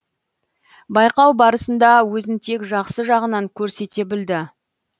байқау барысында өзін тек жақсы жағынан көрсете білді